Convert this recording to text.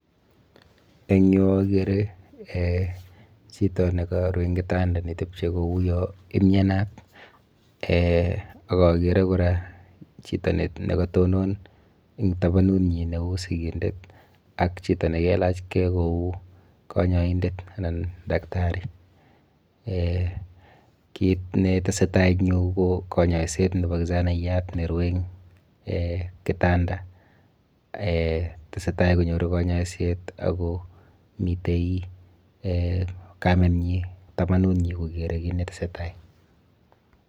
Eng yu akere um chito nekaru eng kitanda nitepye kou yo imyenat um ak akere kora chito nekatonon eng tabanunyi neu sikindet ak chito ni kelachkei kou kanyoindet anan dakitari[um] kit netesetai eng yu ku kanyoiset nepo kijanaiyat nerue eng [um]kitanda [um]tesetai konyoru kanyoiset ako mitei um kamenyi tabanunyi kokere kit netesetai.